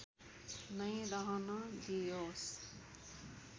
नै रहन दिइयोस्